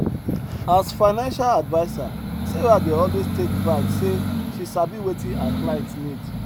as financial adviser sarah dey always take pride say she sabi wetin her client need